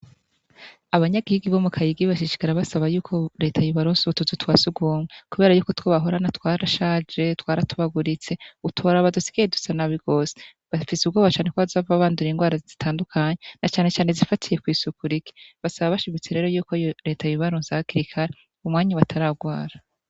Abanyagihugu bo mu Kayigi bashishikara basaba yuko reta yobaronsa utuzu twa sugumwe, kubera yuko utwo bahorana twarashaje, twaratobaguritse, utoraba dusigaye dusa nabi gose, bafise ubwoba cane ko bazohava bandura ingwara zitandukanye na canecane izifatiye kw'isuku rike, basaba bashimitse rero yuko reta yobibaronsa hakiri kare umwanya bataragwara.